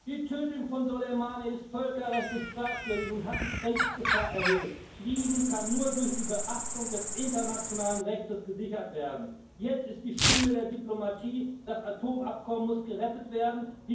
Die Tötung von Soleimani ist völkerrechtlich fragwürdig und hat die Kriegsgefahr erhöht. Frieden kann nur durch die Beachtung des internationalen Rechts gesichert werden. Jetzt ist die Stunde der Diplomatie. Das Atomabkommen muss gerettet werden.